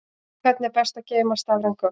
Hvernig er best að geyma stafræn gögn?